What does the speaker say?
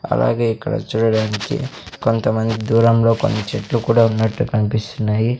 అలాగే ఇక్కడ చూడడానికి కొంతమంది దూరంలో కొన్ని చెట్లు కూడా ఉన్నట్టు కన్పిస్తున్నాయి.